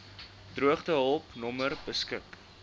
droogtehulp nommer beskik